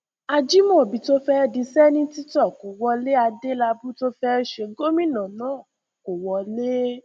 ajimobi tó fẹ dì sẹńtítọ kó wọlé adélábù tó fẹ ṣe gómìnà náà kó wọlé